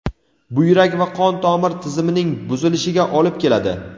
buyrak va qon tomir tizimining buzilishiga olib keladi.